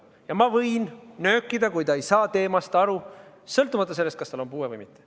Ja ma võin nöökida, kui ta ei saa teemast aru, sõltumata sellest, kas tal on puue või mitte.